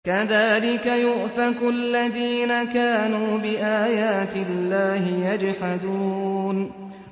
كَذَٰلِكَ يُؤْفَكُ الَّذِينَ كَانُوا بِآيَاتِ اللَّهِ يَجْحَدُونَ